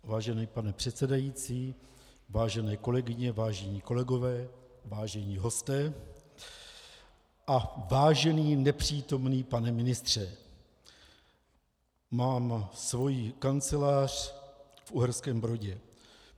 Vážený pane předsedající, vážené kolegyně, vážení kolegové, vážení hosté a vážený nepřítomný pane ministře, mám svoji kancelář v Uherském Brodě.